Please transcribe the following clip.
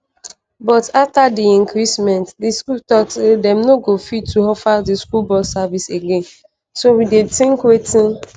"but afta di increment di school tok say dem no go fit to offer di school bus services again so we dey tink wetin